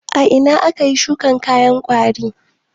A ina ake shuka kayan gwari?